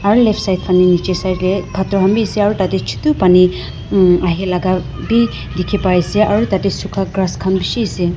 aro left side phane nechi side dae pathor khan bhi ase aro tatey chutu pani hmm ahilaga bhi dekhe pai ase aro tatey sukha grass khan beshi ase.